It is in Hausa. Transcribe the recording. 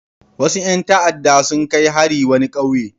Wasu ƴan ta'adda sun kai hari wani ƙauye.